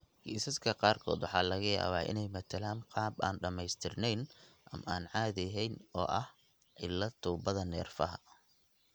Kiisaska qaarkood waxa laga yaabaa inay matalaan qaab aan dhammaystirnayn ama aan caadi ahayn oo ah cillad tuubada neerfaha.